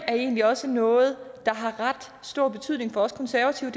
er egentlig også noget der har ret stor betydning for os konservative